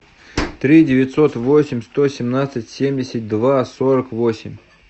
три девятьсот восемь сто семнадцать семьдесят два сорок восемь